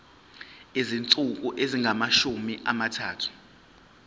izinsuku ezingamashumi amathathu